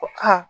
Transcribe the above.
Ko aa